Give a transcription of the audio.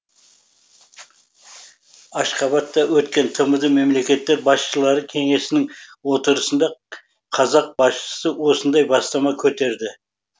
ашхабадта өткен тмд мемлекеттер басшылары кеңесінің отырысында қазақ басшысы осындай бастама көтерді